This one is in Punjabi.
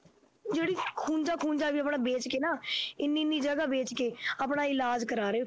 ਜਿਹੜੀ ਖੂੰਝਾ ਖੂੰਝਾ ਵੀ ਆਪਣਾ ਵੇਚ ਕੇ ਨਾ ਇੰਨੀ ਇੰਨੀ ਜਗ੍ਹਾ ਵੇਚ ਕੇ ਆਪਣਾ ਇਲਾਜ ਕਰਵਾ ਰਹੇ